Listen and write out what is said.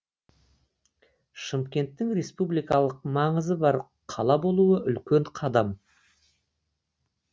шымкенттің республикалық маңызы бар қала болуы үлкен қадам